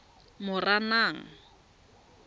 moranang